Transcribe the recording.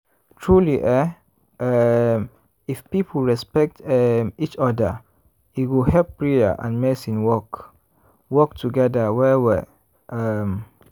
truely eeh um if people respect um each oda e go help prayer and medicine work work togeda well well um.